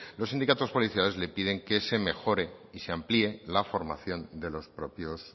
los sindicatos policiales le piden que se mejore y se amplíe la formación de los propios